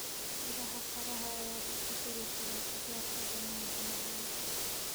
Miraha qaraha ayaa lagu dari karaa qajaarka dhadhanka macaan.